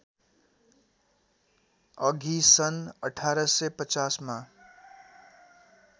अघि सन् १८५० मा